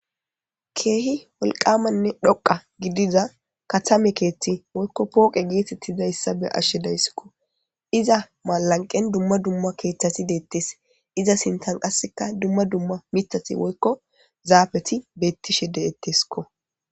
Keehi wolqamanne dhoqa gidiza katame keethti woykko pooqe geetettizayssa be ashshe dayssikko iza malanqen dumma dumma keeththati deettes iza sintan qasseka dumma dumma mitati woykko zaafeti bettishe de'etteskko